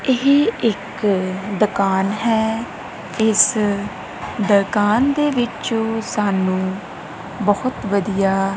ਏਹ ਇੱਕ ਦੁਕਾਨ ਹੈ ਇਸ ਦੁਕਾਨ ਦੇ ਵਿਚੋਂ ਸਾਨੂੰ ਬੋਹੁਤ ਵਧੀਆ--